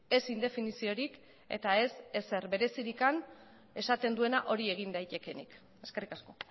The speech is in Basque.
ez indefiniziorik eta ez ezer berezirik esaten duena hori egin daitekeenik eskerrik asko